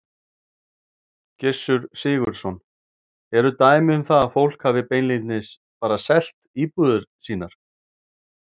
Gissur Sigurðsson: Eru dæmi um það að fólk hafi beinlínis bara selt íbúðir sínar?